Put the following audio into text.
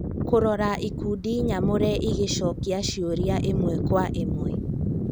Kũrora ikundi nyamũre igĩcokia ciũria ĩmwe kwa ĩmwe